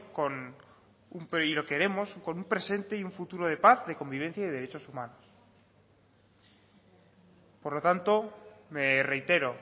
con un presente y un futuro de paz de convivencia y de derechos humanos por lo tanto me reitero